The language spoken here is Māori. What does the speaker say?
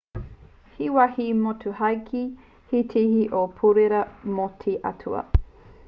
he wāhi motuhake te tihi o te pourewa mō te atua